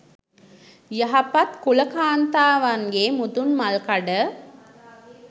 යහපත් කුල කාන්තාවන්ගේ මුදුන්මල්කඩ